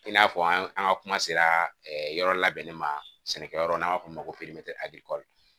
I n'a fɔ an ka kuma sera yɔrɔ labɛnni ma sɛnɛkɛ yɔrɔ n'an b'a fɔ o ma ko